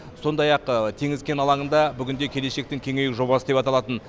сондай ақ теңіз кен алаңында бүгін де келешектің кеңею жобасы деп аталатын